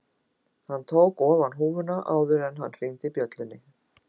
Hann tók ofan húfuna áður en hann hringdi bjöllunni